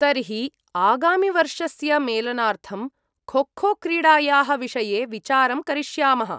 तर्हि आगामिवर्षस्य मेलनार्थं खोखो क्रीडायाः विषये विचारं करिष्यामः।